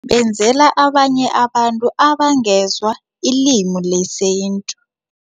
Benzela abanye abantu abangezwa ilimi lesintu.